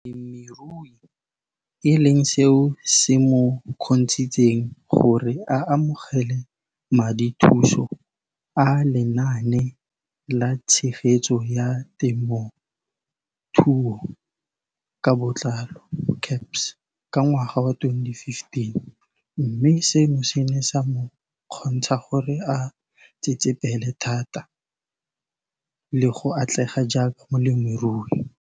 Balemirui e leng seo se mo kgontshitseng gore a amogele madithuso a Lenaane la Tshegetso ya Te mothuo ka Botlalo, CASP] ka ngwaga wa 2015, mme seno se ne sa mo kgontsha gore a tsetsepele thata le go atlega jaaka molemirui.